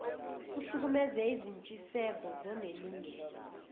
kuhlukumeze izintshiseko zonelungelo